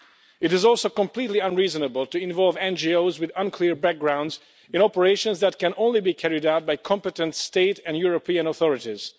It is also completely unreasonable to involve NGOs, with unclear backgrounds, in operations that can only be carried out by competent state and European authorities.